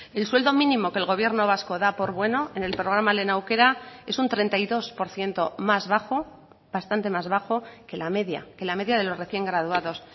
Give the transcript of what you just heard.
el sueldo mínimo que el gobierno vasco da por bueno en el programa lehen aukera es un treinta y dos por ciento más bajo bastante más bajo que la media que la media de los recién graduados